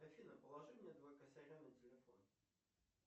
афина положи мне два косаря на телефон